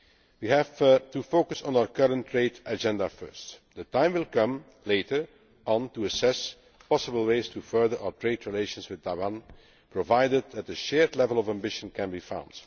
We have to focus on our current trade agenda first. The time will come later on to assess possible ways to improve our trade relations with Taiwan, provided that a shared level of ambition can be found.